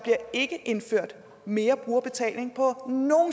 ikke bliver indført mere brugerbetaling på nogen